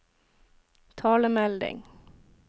talemelding